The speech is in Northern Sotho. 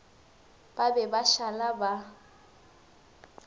ba be ba šala ba